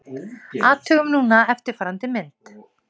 Athugum núna eftirfarandi mynd: